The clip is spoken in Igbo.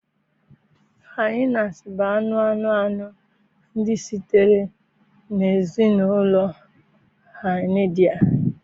Hinias bụ anụ anụ anụ ndị sitere na ezinụlọ Hyaenidae